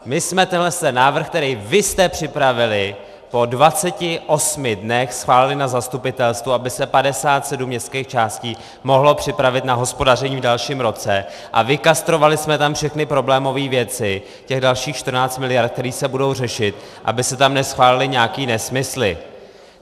My jsme tenhle návrh, který vy jste připravili, po 28 dnech schválili na zastupitelstvu, aby se 57 městských částí mohlo připravit na hospodaření v dalším roce, a vykastrovali jsme tam všechny problémové věci, těch dalších 14 mld., které se budou řešit, aby se tam neschválily nějaké nesmysly.